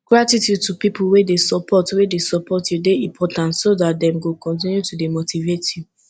gratitude to pipo wey de support wey de support you de important so that dem go continue to de motivate you